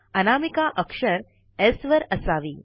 अनामिका अक्षर स् वर असावी